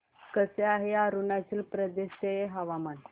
कसे आहे अरुणाचल प्रदेश चे हवामान